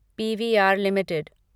PVR limited